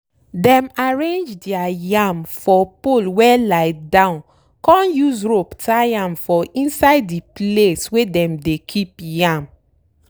dem arrange dere yam for pole wey lie down con use rope tie am for inside de place wey dem dey keep yam.